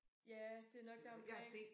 Ja det er nok deromkring